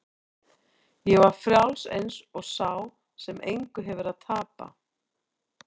Ég var frjáls eins og sá sem engu hefur að tapa.